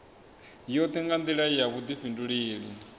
yoṱhe nga nḓila ya vhuḓifhinduleli